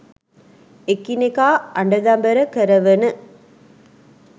එකිනෙකා අඬදබර කරවන